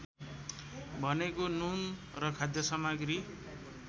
भनेको नुन र खाद्यसामग्री